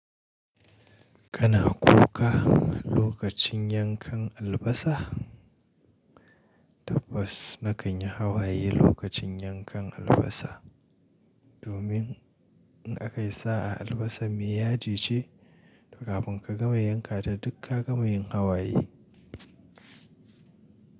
Kana kuka lokacin yankan albasa? Tabbas na kan yi hawaye lokacin yankan albasa. Domin in aka yi sa'a albasan mai yaji ce, kafin ka gama yanka ta duk ka gama yin hawaye.